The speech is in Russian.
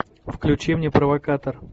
включи мне провокатор